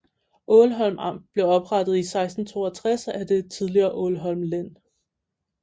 Ålholm Amt blev oprettet i 1662 af det tidligere Ålholm Len